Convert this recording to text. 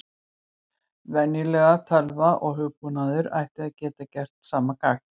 Venjuleg tölva og hugbúnaður ætti að geta gert sama gagn.